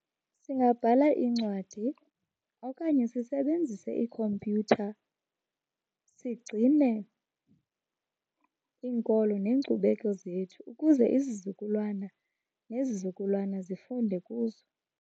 Singabhala iincwadi okanye sisebenzise iikhompyutha sigcine iinkolo neenkcubeko zethu ukuze izizukulwana nezizukulwana zifunde kuzo.